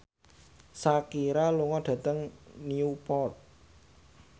Shakira lunga dhateng Newport